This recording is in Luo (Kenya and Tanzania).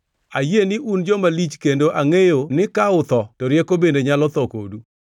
“Ayie ni un joma lich kendo angʼeyo ni ka utho to rieko bende nyalo tho kodu!